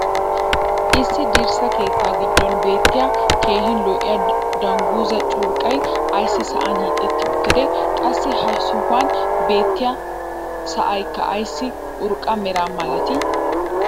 issi dirssa keettaa giddon beettiya keehi lo'iya danguzzaa curqqay ayssi sa'an hiixetti uttidee? qassi ha sohuwan beettiya sa"aykka ayssi urqqa mera malatii?